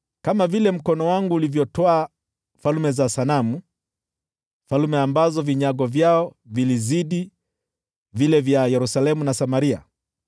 Kama vile mkono wangu ulivyotwaa falme za sanamu, falme ambazo vinyago vyao vilizidi vile vya Yerusalemu na Samaria: